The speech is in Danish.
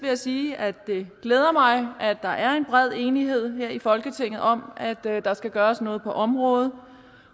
sige at det glæder mig at der er en bred enighed her i folketinget om at at der skal gøres noget på området